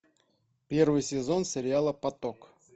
первый сезон сериала поток